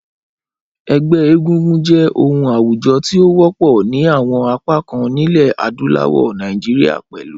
Ẹgbẹ́ egúngún jẹ́ oun àwùjo ti o wọ́pọ̀ ni àwon apá kan nílẹ̀ adúláwò, Naijiria pẹ̀lu.